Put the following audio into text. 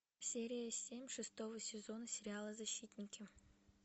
серия семь шестого сезона сериала защитники